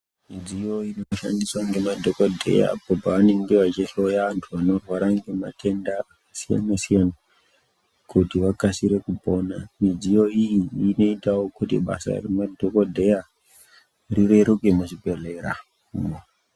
Midziyo inoshandiswa ngemadhokodheya apo paanenge vachihloya vanhu vanorwara ngematenda akasiyana siyana kuti vakasire kupona. Midziyo iyi inoitawo kuti basa remadhokodheya rireruke muzvibhedhlera.